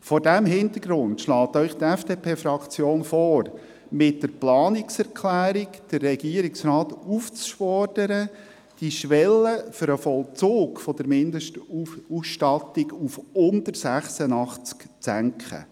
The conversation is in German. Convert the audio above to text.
Vor diesem Hintergrund schlägt Ihnen die FDP-Fraktion vor, mit der Planungserklärung, den Regierungsrat aufzufordern, die Schwelle für den Vollzug der Mindestausstattung auf unter 86 zu senken.